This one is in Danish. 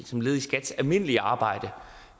som led i sit almindelige arbejde